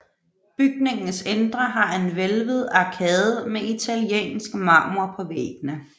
Bygningens indre har en hvælvet arkade med italiensk marmor på væggene